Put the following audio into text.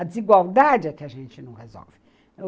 A desigualdade é que a gente não resolve.